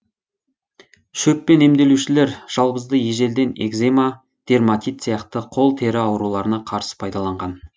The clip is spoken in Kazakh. шөппен емдеушілер жалбызды ежелден экзема дерматит сияқты қол тері ауруларына қарсы пайдаланған